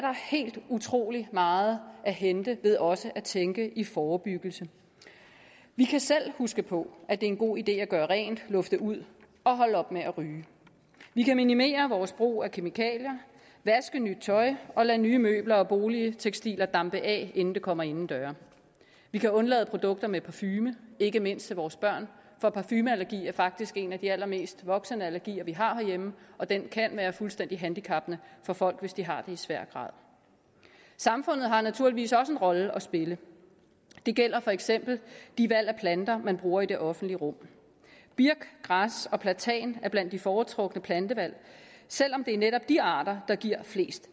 helt utrolig meget at hente ved også at tænke i forebyggelse vi kan selv huske på at en god idé at gøre rent lufte ud og holde op med at ryge vi kan minimere vores brug af kemikalier vaske nyt tøj og lade nye møbler og boligtekstiler dampe af inden det kommer inden døre vi kan undlade produkter med parfume ikke mindst til vores børn for parfumeallergi er faktisk en af de allermest udbredte voksenallergier vi har herhjemme og den kan være fuldstændig handicappende for folk hvis de har det i svær grad samfundet har naturligvis også en rolle at spille det gælder for eksempel de valg af planter man bruger i det offentlige rum birk græs og platan er blandt de foretrukne plantevalg selv om det er netop de arter der giver flest